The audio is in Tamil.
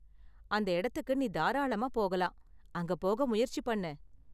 அந்த இடத்துக்கு நீ தாராளமா போகலாம், அங்க போக முயற்சி பண்ணு.